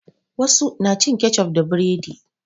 Wasu na cin kecof da buredi.